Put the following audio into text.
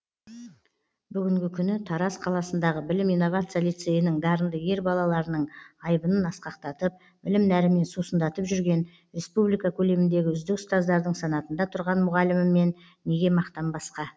бүгінгі күні тараз қаласындағы білім инновация лицейінің дарынды ер балаларының айбынын асқақтатып білім нәрімен сусындатып жүрген республика көлеміндегі үздік ұстаздардың санатында тұрған мұғаліміммен неге мақтанбасқа